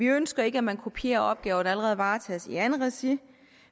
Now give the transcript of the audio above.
ønsker ikke at man kopierer opgaver der allerede varetages i andet regi